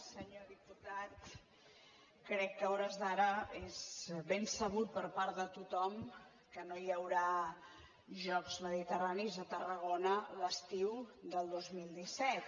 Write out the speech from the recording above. senyor diputat crec que a hores d’ara és ben sabut per part de tothom que no hi haurà jocs mediterranis a tarragona l’estiu del dos mil disset